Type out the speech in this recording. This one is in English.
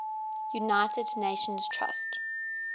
united nations trust